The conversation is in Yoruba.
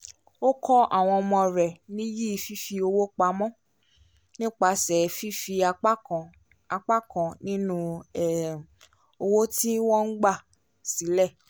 ó kọ́ àwọn ọmọ rẹ̀ níyì fífipamọ́ nípasẹ̀ fífi apá kan apá kan ninu um owó tí wọ́n máa ń gba sílẹ̀